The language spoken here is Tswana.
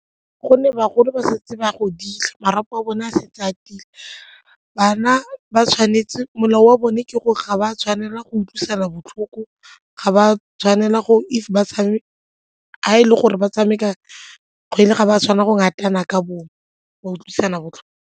Gonne bagolo ba santse ba godile, marapo a bone a setse a tiile. Bana molao wa bone ke gore ga ba tshwanela go utlwisa botlhoko ga ba tshwanela gore fa ba tshameka ga e le gore ba tshameka kgwele ga ba tshwanela go ratana ka bongwe ba utlwisana botlhoko.